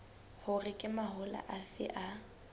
hore ke mahola afe a